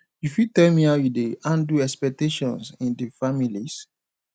you fit tell me how you dey handle expectations in di families